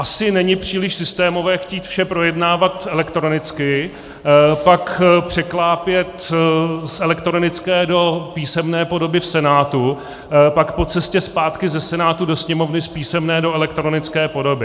Asi není příliš systémové chtít vše projednávat elektronicky, pak překlápět z elektronické do písemné podoby v Senátu, pak po cestě zpátky ze Senátu do Sněmovny z písemné do elektronické podoby.